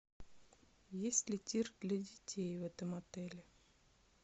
есть ли тир для детей в этом отеле